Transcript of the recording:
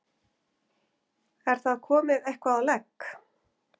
Er það komið eitthvað á legg?